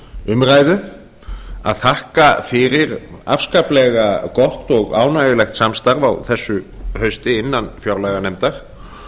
umræðu að þakka fyrir afskaplega gott og ánægjulegt samstarf á þessu hausti innan fjárlaganefndar